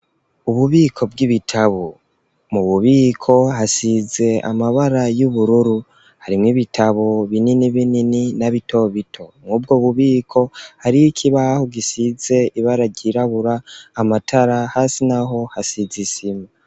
Ububiko bw'ibitabu mu bubiko hasize amabara y'ubururu harimwo ibitabu binini binini na bitobito mwubwo bubiko hari oikibaho gisize ibara ryirabura amatara hasi na ho hasize isima.